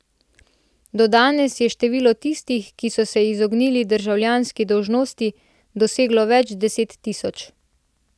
Do danes je število tistih, ki so se izognili državljanski dolžnosti, doseglo več deset tisoč.